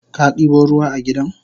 Kadibo ruwa a gidan?